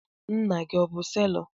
Nna gị o bụ selọ?